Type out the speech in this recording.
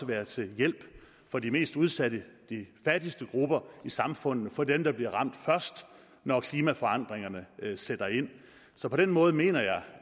være til hjælp for de mest udsatte og fattigste grupper i samfundet for dem der bliver ramt først når klimaforandringerne sætter ind så på den måder mener jeg